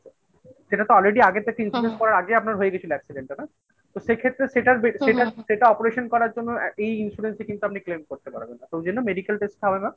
সেটা তো already আগে থেকে করার আগে আপনার হয়ে গেছিল accident টা না তো সেক্ষেত্রে সেটার সেটা operation করার জন্য এই insurance এ কিন্তু আপনি claim করতে পারবেন না। তো ওই জন্য medical test হবে না